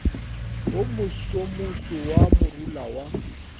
wo mosomoso wa morula wa